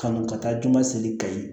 Kanu ka taa juma seli kayi